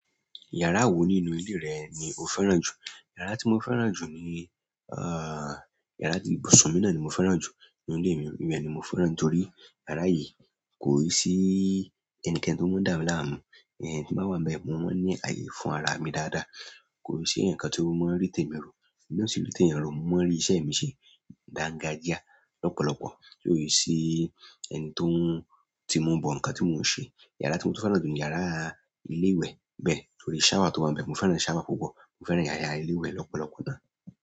Yàrá wo nínú ilé rẹ ni o fẹ́ràn jù? Yàrá tí mo fẹ́ràn jù ni, yàrá ti ibùsùn mi náà ni mo fẹ́ràn jù nínú ilé mi. Ibé ni mo fẹ́ràn nítorí yàrá yìí kò i sí ẹnikẹ́ni tó máa ń dà mí láàmú. Tí n ba wà nbẹ̀, mo máa ń ní ààyè fún ara mi dáadáa. Kò i si eeyan kan tí ó máa ń rí tèmi rọ, emi náà o si ri tẹ̀eyàn rọ, mo máa rí iṣẹ́ mi ṣe, dáńgájíá lọ́pọ̀lọpọ̀. Kò i sì ẹni tó ń, tímu bọ nǹkan tí mò ń ṣe. Yàrá tí mo tó fẹ́ràn jù ni yàrá ilé ìwẹ̀ bẹ́ẹ̀ torí ṣáwà tó wà níbẹ̀. Mo fẹ́ràn ṣáwà púpọ̀. Mo fẹ́ràn yàrá ilé ìwẹ̀ lọ́pọ̀lọpọ̀ náà.